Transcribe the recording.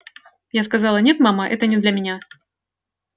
я сказала нет мама это не для меня